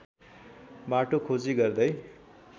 बाटोको खोजी गर्दै